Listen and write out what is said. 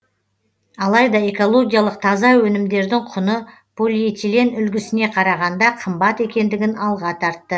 алайда экологиялық таза өнімдердің құны полиэтилен үлгісіне қарағанда қымбат екендігін алға тартты